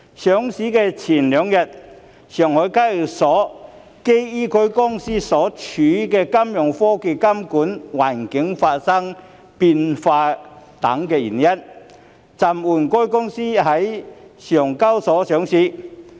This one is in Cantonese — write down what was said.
上市前兩日，上海證券交易所基於該公司所處的金融科技監管環境發生變化等原因，暫緩該公司在該交易所上市。